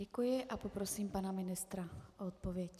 Děkuji a poprosím pana ministra o odpověď.